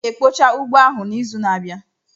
M ga-ekpocha ugbo ahụ n'izu na-abịa.